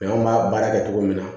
anw b'a baara kɛ cogo min na